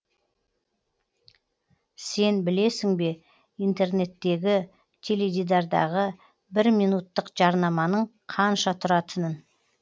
сен білесің бе интернеттегі теледидардағы бір минуттық жарнаманың қанша тұратынын